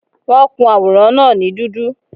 Wọ́n kun àwòrán náà ní dúdú